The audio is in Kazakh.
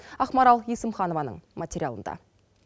ақмарал есімханованың материалында